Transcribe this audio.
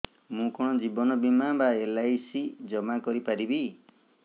ମୁ କଣ ଜୀବନ ବୀମା ବା ଏଲ୍.ଆଇ.ସି ଜମା କରି ପାରିବି